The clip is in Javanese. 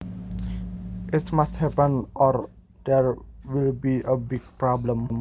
It must happen or there will be a big problem